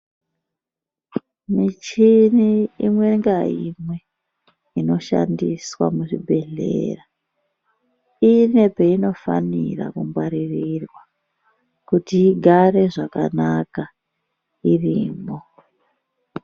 Michini imwe ngaimwe inoshandiswa muzvibhedhlera ine painofanira kungwaririrwa kuti igare zvakanaka irimwo.